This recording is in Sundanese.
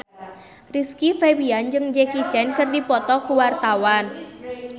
Rizky Febian jeung Jackie Chan keur dipoto ku wartawan